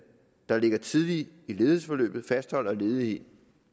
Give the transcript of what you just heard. der ligger tidligt i ledighedsforløbet fastholder ledige